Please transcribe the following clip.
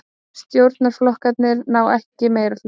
Stjórnarflokkarnir ná ekki meirihluta